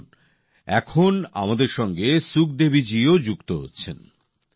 আসুন এখন আমাদের সঙ্গে সুখদেবীজিও যোগ দিচ্ছেন